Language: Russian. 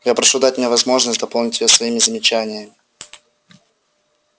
я прошу дать мне возможность дополнить её своими замечаниями